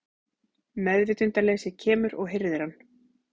Meðvitundarleysið kemur og hirðir hann.